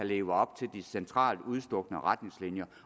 leve op til de centralt udstukne retningslinjer